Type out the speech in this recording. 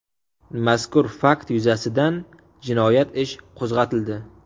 Mazkur fakt yuzasidan jinoyat ish qo‘zg‘atildi.